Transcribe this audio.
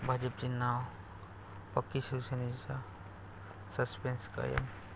भाजपची नावं पक्की, शिवसेनेचं सस्पेन्स कायम